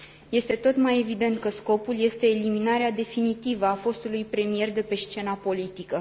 Este tot mai evident că scopul este eliminarea definitivă a fostului premier de pe scena politică.